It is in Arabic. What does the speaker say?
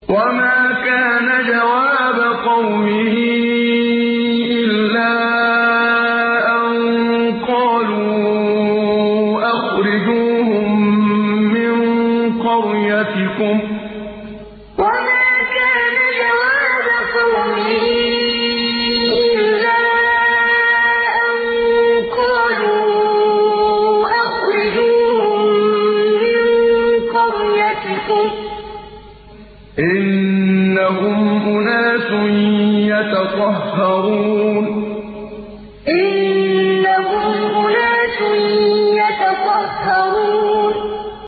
وَمَا كَانَ جَوَابَ قَوْمِهِ إِلَّا أَن قَالُوا أَخْرِجُوهُم مِّن قَرْيَتِكُمْ ۖ إِنَّهُمْ أُنَاسٌ يَتَطَهَّرُونَ وَمَا كَانَ جَوَابَ قَوْمِهِ إِلَّا أَن قَالُوا أَخْرِجُوهُم مِّن قَرْيَتِكُمْ ۖ إِنَّهُمْ أُنَاسٌ يَتَطَهَّرُونَ